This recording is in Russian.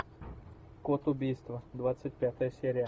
код убийства двадцать пятая серия